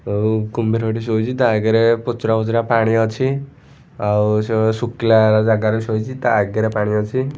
ଆଉ କୁମ୍ଭୀର ଟି ଶୋଇଚି ତା ଆଗରେ ପୁଚୁରା ମୋଚରା ପାଣି ଅଛି ଆଉ ସେ ଶୁଖିଲା ଜାଗାରେ ଶୋଇଚି ତା ଆଗରେ ପାଣି ଅଛି।